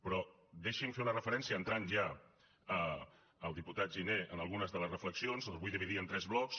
però deixi’m fer una referència entrant ja al diputat giner a algunes de les reflexions ho vull dividir en tres blocs